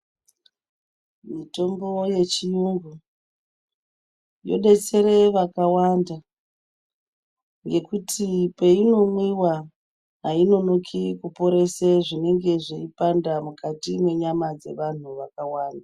Mitombo yechiyungu yodetsera vakawanda ngekuti peyinomwiwa hayi nonoki kuporesa zvineonga zveipanda mukati menyama dzavantu vakawanda .